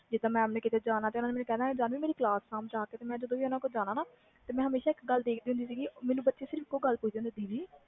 ਜਿੰਦਾ mam ਨੇ ਕੀਤੇ ਜਾਣਾ ਜਾਨਵੀ ਮੇਰੀ ਕਲਾਸ ਸਾਬ ਜਾ ਕੇ ਮੈਂ ਹਮੇਸ਼ਾ ਇਕ ਗੱਲ ਦੇਖ ਦੀ ਹੁੰਦੀ ਸੀ ਉਹ ਮੈਨੂੰ ਇਕ ਗੱਲ ਪੁੱਛ ਦੀ ਹੁੰਦੀ ਸੀ